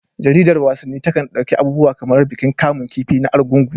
Jaridar wasanni takan ɗauki abubuwa kamar bikin kamun kifi na Argungu.